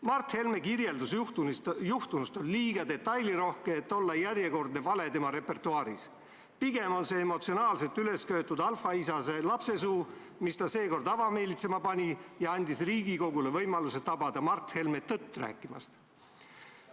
Mart Helme kirjeldus juhtunust on liiga detailirohke, et olla järjekordne vale tema repertuaaris, pigem oli see emotsionaalselt ülesköetud alfaisase lapsesuu, mis ta seekord avameelitsema pani ja andis Riigikogule võimaluse tabada Mart Helme tõtt rääkimast.